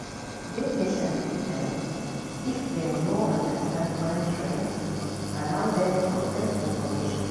Dey patient with dem if dem no understand current trends, allow dem process information